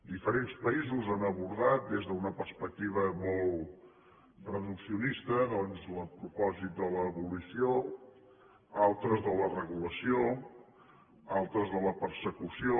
diferents països han abordat des d’una perspectiva molt reduccionista doncs el propòsit de l’abolició altres de la regulació altres de la persecució